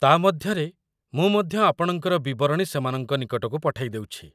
ତା' ମଧ୍ୟରେ, ମୁଁ ମଧ୍ୟ ଆପଣଙ୍କର ବିବରଣୀ ସେମାନଙ୍କ ନିକଟକୁ ପଠେଇଦେଉଛି।